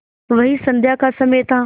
वही संध्या का समय था